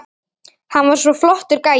Hann var svo flottur gæi.